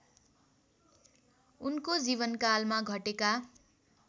उनको जीवनकालमा घटेका